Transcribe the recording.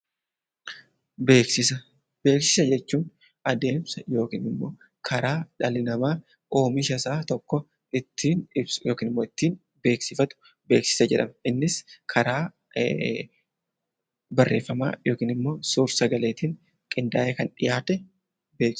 Beeksisa jechuun adeemsa yookiin karaa dhalli namaa oomisha isaa tokko ittiin ibsu yookiin beeksifatu beeksisa jedhama. Innis barreeffamaan yookaan bifa sagaleetiin qindaa'ee kan dhiyaatudha.